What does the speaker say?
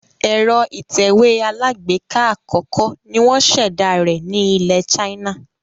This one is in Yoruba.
Èro ìtẹ̀wé alágbèká àkókó ni wón sèdá rẹ̀ ni ilè China